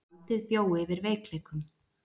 Valdið bjó yfir veikleikum.